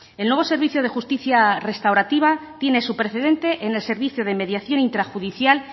el nuevo servicio de justicia restaurativa tiene su precedente en el servicio de mediación intrajudicial